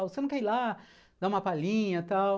Você não quer ir lá dar uma palhinha, tal?